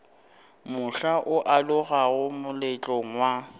mohla o alogago moletlong wa